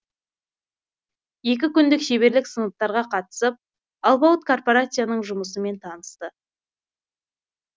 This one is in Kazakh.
екі күндік шеберлік сыныптарға қатысып алпауыт корпорацияның жұмысымен танысты